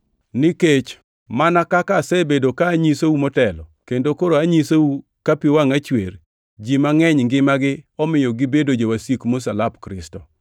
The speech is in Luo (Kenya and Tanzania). Nikech mana kaka asebedo ka anyisou motelo kendo koro anyisou ka pi wangʼa chwer, ji mangʼeny ngimagi omiyo gibedo jowasik msalap Kristo.